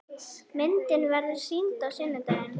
Myndin verður sýnd á sunnudaginn.